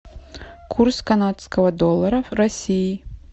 курс канадского доллара в россии